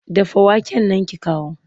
Dafa waken nan ki kawo!